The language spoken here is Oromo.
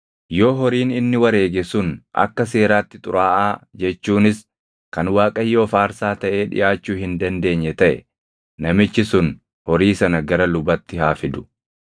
Yoo horiin inni wareege sun akka seeraatti xuraaʼaa jechuunis kan Waaqayyoof aarsaa taʼee dhiʼaachuu hin dandeenye taʼe namichi sun horii sana gara lubatti haa fidu;